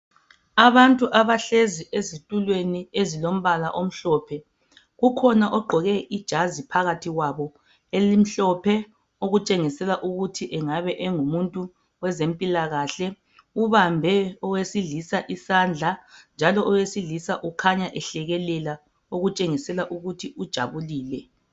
Abantu abahlezi ezitulweni ezilombala omhlophe. Kukhona ogqoke ijazi phakathi kwabo elimhlophe okutshengisela ukuthi engabe engumuntu wezempilakahle. Ubambe owesilisa isandla njalo owesilisa ukhanya ehlekelela okutshengisa ukuthi kukhanya ujabulile.